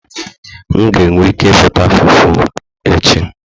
M ga-enwe ike ịzụta Fufu echi